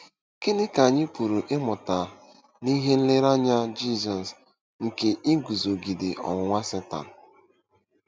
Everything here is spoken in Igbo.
Gịnị ka anyị pụrụ ịmụta n’ihe nlereanya Jizọs nke iguzogide ọnwụnwa Setan?